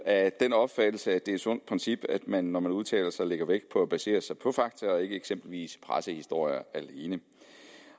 af den opfattelse at det er et sundt princip at man når man udtaler sig lægger vægt på at basere sig på fakta og ikke eksempelvis pressehistorier alene